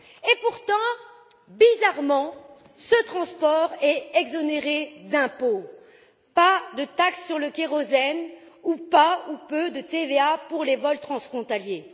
Et pourtant, bizarrement, ce transport est exonéré d'impôts pas de taxe sur le kérosène ou pas, ou peu, de TVA pour les vols transfrontaliers.